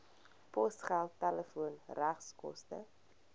posgeld telefoon regskoste